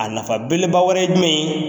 A nafa beleba wɛrɛ ye jumɛn ye